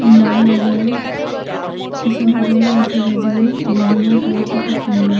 সুন্দর লাগে পিসনে ঘরও আসে বেজান বিল্ডিং -এর কালার -টা খুব সুন্দর।